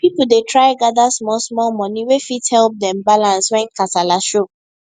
people dey try gather small small money wey fit help dem balance when kasala show